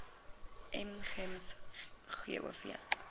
m gems gov